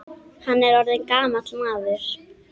Hann er orðinn gamall maður.